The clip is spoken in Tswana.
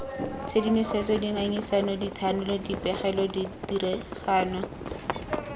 tshedimosetso dingangisano dithanolo dipegelo ditiragalo